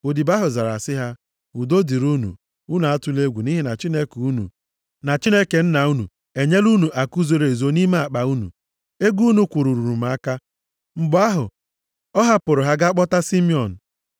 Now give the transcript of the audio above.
Odibo ahụ zara sị ha, “Udo dịrị unu, unu atụla egwu, nʼihi na Chineke unu, na Chineke nna unu enyela unu akụ zoro ezo nʼime akpa unu. Ego unu kwụrụ ruru m aka.” Mgbe ahụ, ọ hapụrụ ha gaa kpọpụta Simiọn.